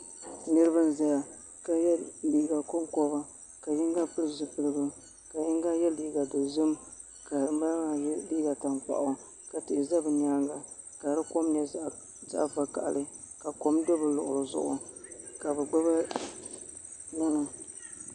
Niraba n ʒɛya ka yɛ liiga konkoba ka yino pili zipiligu ka yinga yɛ liiga dozim ka ŋunbala maa yɛ liiga tankpaɣu ka tihi ʒɛ bi nyaanga ka di kom nyɛ zaɣ vakaɣali ka kom do bi luɣuli zuɣu ka bi gbubi ŋmana